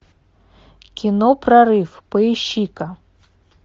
кино прорыв поищи ка